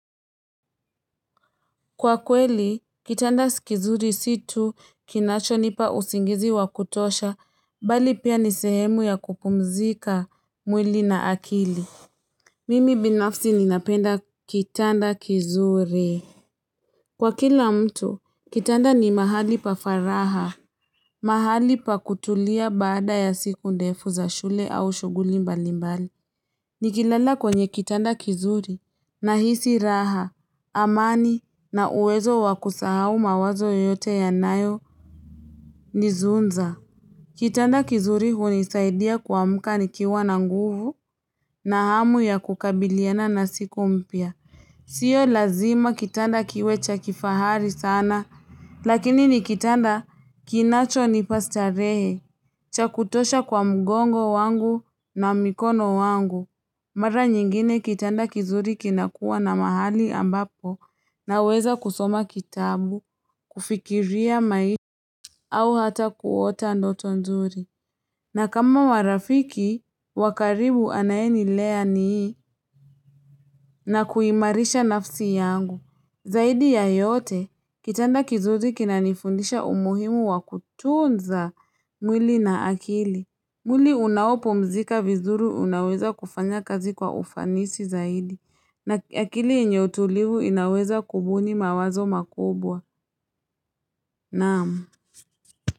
Kwa kweli, kitanda kizuri situ kinacho nipa usingizi wa kutosha, bali pia nisehemu ya kupumzika mwili na akili. Mimi binafsi ninapenda kitanda kizuri. Kwa kila mtu, kitanda ni mahali pafaraha. Mahali pa kutulia baada ya siku ndefu za shule au shughuli mbali mbali. Nikilala kwenye kitanda kizuri na hisi raha, amani na uwezo wakusahau mawazo yote ya nayo nizunza. Kitanda kizuri hunisaidia kuamkani kiwa na nguvu na hamu ya kukabiliana na siku mpya. Sio lazima kitanda kiwecha kifahari sana. Lakini nikitanda kinacho nipastarehe. Chakutosha kwa mgongo wangu na mikono wangu. Mara nyingine kitanda kizuri kinakua na mahali ambapo na weza kusoma kitabu, kufikiria maisha au hata kuota ndoto nzuri. Na kama warafiki, wakaribu anayenilea nii na kuimarisha nafsi yangu. Zaidi ya yote, kitanda kizuri kinanifundisha umuhimu wa kutunza mwili na akili. Mwili unao pumzika vizuri unaweza kufanya kazi kwa ufanisi zaidi na akili yenyetulivu inaweza kubuni mawazo makubwa naam.